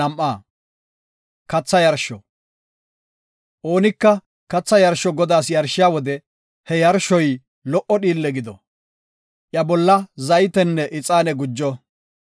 Oonika katha yarsho Godaas yarshiya wode he yarshoy lo77o dhiille gido; iya bolla zaytenne ixaane gujo.